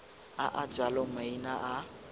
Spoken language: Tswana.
a a jalo maina a